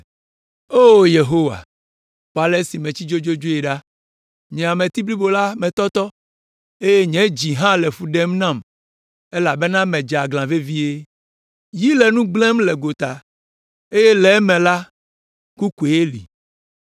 “O Yehowa, kpɔ ale si metsi dzodzodzoe ɖa! Nye ameti blibo la metɔtɔ eye nye dzi hã le fu ɖem nam elabena medze aglã vevie. Yi le nu gblẽm le gota; eye le eme la, ku koe li.